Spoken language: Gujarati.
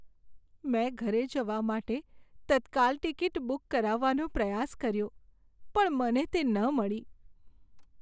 મેં ઘરે જવા માટે તત્કાલ ટિકિટ બુક કરાવવાનો પ્રયાસ કર્યો પણ મને તે ન મળી.